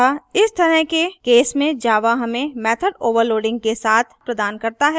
अतः इस तरह के cases में java हमें method overloading के साथ प्रदान करता है